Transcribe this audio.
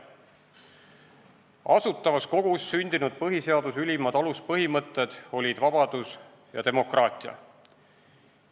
Asutavas Kogus sündinud põhiseaduse ülimad aluspõhimõtted olid vabadus ja demokraatia.